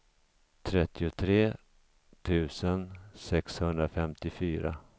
trettiotre tusen sexhundrafemtiofyra